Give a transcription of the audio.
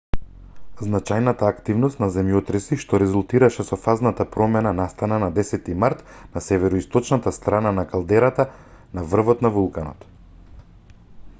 значајната активност на земјотреси што резултираше со фазната промена настана на 10-ти март на североисточната страна од калдерата на врвот на вулканот